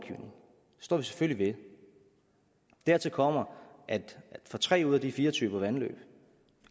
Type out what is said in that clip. det står vi selvfølgelig ved dertil kommer at for tre ud af de fire typer vandløb